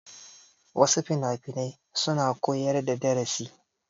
Wasu finafinai suna koyar da darasi.